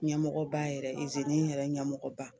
Ɲɛmɔgɔba yɛrɛ, izini yɛrɛ ɲɛmɔgɔba.